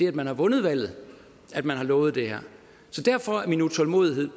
at man har vundet valget at man har lovet det her så derfor er min utålmodighed